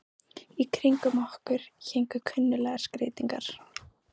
Í kringum okkur héngu kunnuglegar skreytingar.